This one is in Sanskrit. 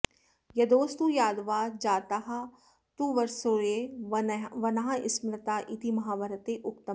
यदोस्तु यादवा जातास्तुर्वसोर्य वनाः स्मृताः इति महाभारते उक्तमेव